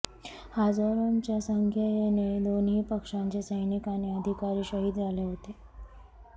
हजारोंच्या संख्येने दोन्ही पक्षांचे सैनिक आणि अधिकारी शहीद झाले होते